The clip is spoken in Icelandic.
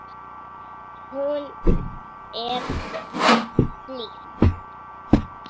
Hún er blíð.